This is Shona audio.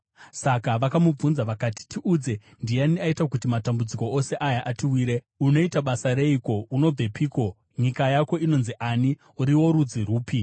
Saka vakamubvunza vakati, “Tiudze, ndiani aita kuti matambudziko ose aya atiwire? Unoita basa reiko? Unobvepiko? Nyika yako inonzi ani? Uri worudzi rupi?”